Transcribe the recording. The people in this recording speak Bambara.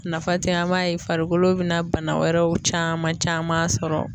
Nafa tɛ an m'a ye farikolo bɛna bana wɛrɛw caman caman sɔrɔ.